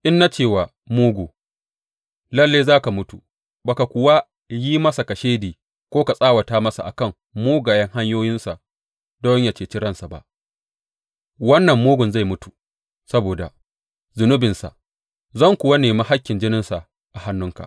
In na ce wa mugu, Lalle za ka mutu,’ ba ka kuwa yi masa kashedi ko ka tsawata masa a kan mugayen hanyoyinsa don yă ceci ransa ba, wannan mugun zai mutu saboda zunubinsa, zan kuwa nemi hakkin jininsa a hannunka.